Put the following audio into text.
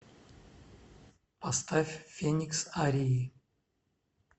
поставь феникс арии